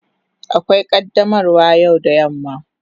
Akwai qaddamarwa yau da yamma.